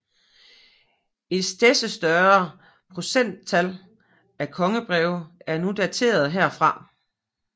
Et stedse større procenttal af kongebreve er nu daterede herfra